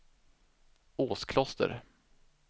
Åskloster